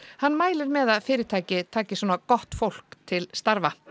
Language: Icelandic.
hann mælir með að fyrirtæki taki svona gott fólk til starfa